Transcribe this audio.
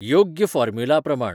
योग्य फोर्मुला प्रमाण